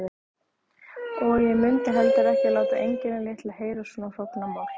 Og ég mundi heldur ekki láta engilinn litla heyra svona hrognamál.